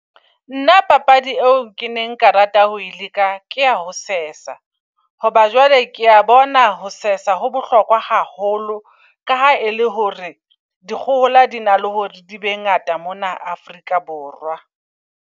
Nna papadi eo ke neng nka rata ho e leka, kea ho sesa. Hoba jwale kea bona ho sesa ho bohlokwa haholo. Ka ha e le hore dikgohola di na le hore di be ngata mona Afrika Borwa.